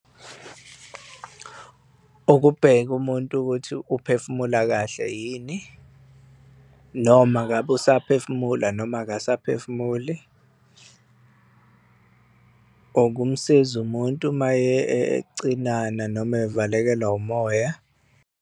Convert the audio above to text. Ukubheka umuntu ukuthi uphefumula kahle yini noma ngabe usaphefumula noma akusaphefumuli, ukumsiza umuntu, uma ecinana noma evalekelwa umoya.